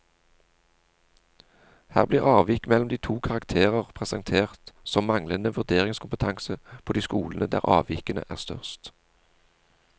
Her blir avvik mellom de to karakterer presentert som manglende vurderingskompetanse på de skolene der avvikene er størst.